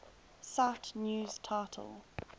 cite news title